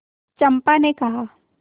चंपा ने कहा